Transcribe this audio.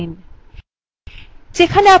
যেখানে আপনি file save করেত চান সেই অবস্থান বেছে নিন